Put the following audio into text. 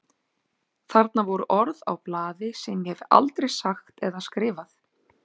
Þarna voru orð á blaði sem ég hef aldrei sagt eða skrifað.